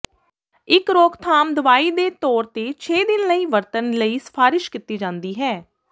ਇਕ ਰੋਕਥਾਮ ਦਵਾਈ ਦੇ ਤੌਰ ਤੇ ਛੇ ਦਿਨ ਲਈ ਵਰਤਣ ਲਈ ਸਿਫਾਰਸ਼ ਕੀਤੀ ਜਾਦੀ ਹੈ